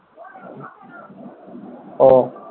ও